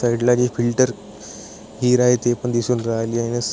side ला जे filter हिरा आहे ते पण दिसून राहिले आहे --